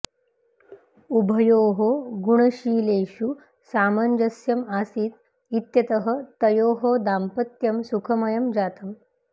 उभयोः गुणशीलेषु सामञ्जस्यम् आसीत् इत्यतः तयोः दाम्पत्यं सुखमयं जातम्